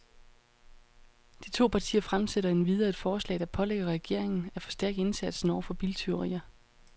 De to partier fremsætter endvidere et forslag, der pålægger regeringen af forstærke indsatsen over for biltyverier.